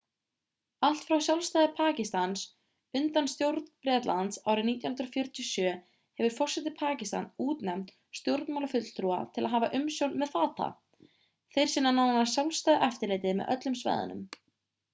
allt frá sjálfstæði pakistans undan stjórn bretlands árið 1947 hefur forseti pakistans útnefnt stjórnmálafulltrúa til að hafa umsjón með fata þeir sinna nánast sjálfstæðu eftirliti með öllu með svæðunum